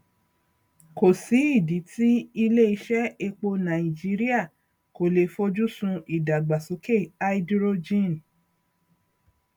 kòsí ìdí tí ilé iṣé epo nàìjíríà kò le foju sun ìdàgbàsókè háídírójìn